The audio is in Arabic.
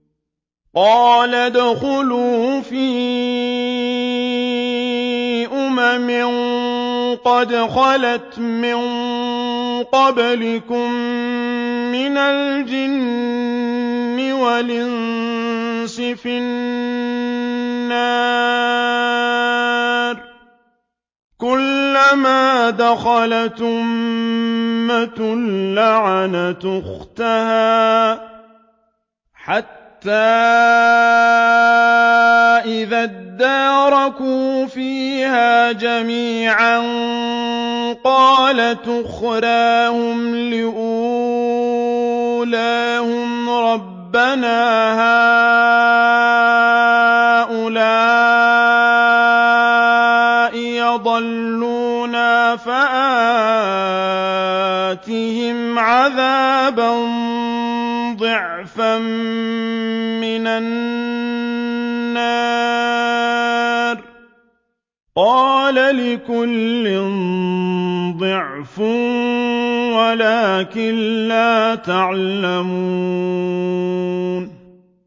قَالَ ادْخُلُوا فِي أُمَمٍ قَدْ خَلَتْ مِن قَبْلِكُم مِّنَ الْجِنِّ وَالْإِنسِ فِي النَّارِ ۖ كُلَّمَا دَخَلَتْ أُمَّةٌ لَّعَنَتْ أُخْتَهَا ۖ حَتَّىٰ إِذَا ادَّارَكُوا فِيهَا جَمِيعًا قَالَتْ أُخْرَاهُمْ لِأُولَاهُمْ رَبَّنَا هَٰؤُلَاءِ أَضَلُّونَا فَآتِهِمْ عَذَابًا ضِعْفًا مِّنَ النَّارِ ۖ قَالَ لِكُلٍّ ضِعْفٌ وَلَٰكِن لَّا تَعْلَمُونَ